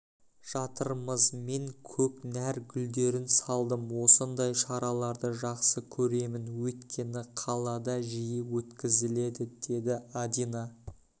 жатырмыз мен көкнәр гүлдерін салдым осындай шараларды жақсы көремін өйткені қалада жиі өткізіледі деді адина